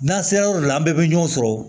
N'an sera yɔrɔ dɔ la an bɛɛ bɛ ɲɔgɔn sɔrɔ